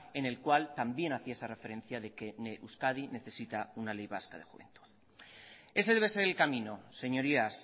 en el cual también hacía esa referencia de que euskadi necesita una ley vasca de juventud ese debe ser el camino señorías